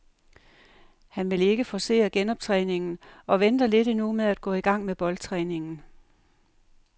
Han vil ikke forcere genoptræningen og venter lidt endnu med at gå i gang med boldtræningen.